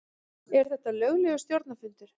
Er þetta löglegur stjórnarfundur?